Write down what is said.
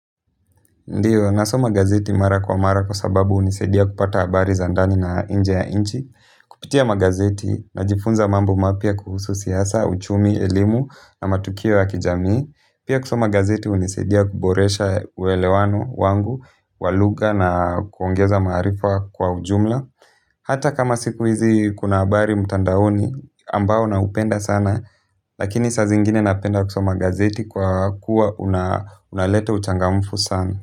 Ndiyo, nasoma gazeti mara kwa mara kwa sababu hunisaidia kupata habari za ndani na nje ya nchi, kupitia magazeti, najifunza mambo mapya kuhusu siasa, uchumi, elimu na matukio ya kijamii, pia kusoma gazeti hunisaidia kuboresha uelewano wangu wa lugha na kuongeza maarifa kwa ujumla hata kama siku hizi kuna habari mtandaoni ambao naupenda sana, lakini saa zingine napenda kusoma gazeti kwa kuwa unaleta uchangamfu sana.